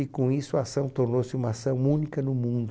E com isso a ação tornou-se uma ação única no mundo.